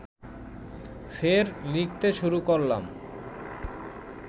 ফের লিখতে শুরু করলাম